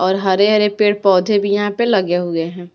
और हरे-हरे पेड़ पौधे भी यहां पे लगे हुए हैं।